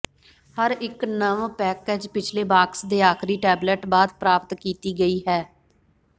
ਹਰ ਇੱਕ ਨਵ ਪੈਕੇਜ ਪਿਛਲੇ ਬਾਕਸ ਦੇ ਆਖਰੀ ਟੈਬਲੇਟ ਬਾਅਦ ਪ੍ਰਾਪਤ ਕੀਤੀ ਗਈ ਹੈ